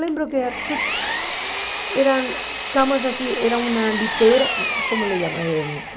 Lembro que eram camas assim, era uma litera, como se chama? Eh